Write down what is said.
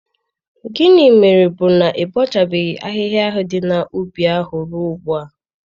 Gịnị mere bụ na ị bọchabeghị ahihia dị n'ubi ahụ ruo ugbu a?